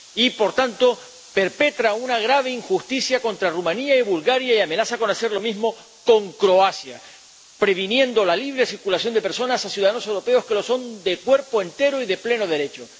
Y, por tanto, perpetra una grave injusticia contra Rumanía y Bulgaria y amenaza con hacer lo mismo con Croacia, impidiendo la libre circulación de personas a ciudadanos europeos que lo son de cuerpo entero y de pleno derecho.